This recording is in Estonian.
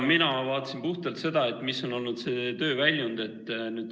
Mina vaatasin puhtalt seda, mis on olnud see töö väljund.